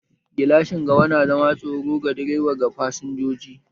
Gilashin gaba na zama a matsayin tsaro ga direba da fasinjoji